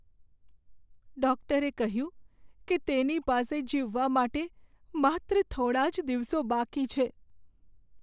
ડૉક્ટરે કહ્યું કે તેની પાસે જીવવા માટે માત્ર થોડા જ દિવસો બાકી છે.